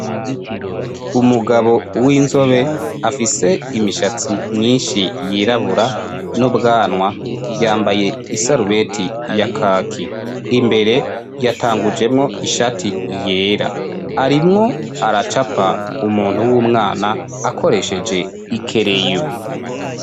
Umugabo w'inzobe afise imishatsi myinshi yirabura nubwanwa, yambaye isarubeti ya kaki. Imbere yatangujemwo ishati yera. Arimwo aracapa umuntu w'umwana akoresheje ikereyo.